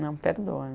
Não perdoa